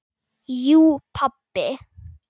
Jú pabbi.